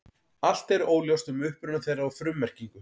Allt er óljóst um uppruna þeirra og frummerkingu.